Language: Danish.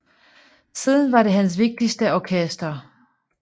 Siden var det hans vigtigste orkester